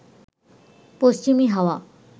পশ্চিমী হাওয়া